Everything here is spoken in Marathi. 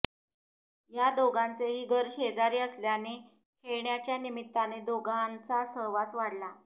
या दोघांचेही घर शेजारी असल्याने खेळण्याच्या निमित्ताने दोघांचा सहवास वाढला